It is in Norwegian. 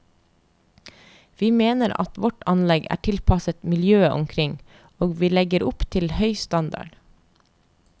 Vi mener at vårt anlegg er tilpasset miljøet omkring, og vi legger opp til høy standard.